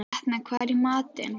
Etna, hvað er í matinn?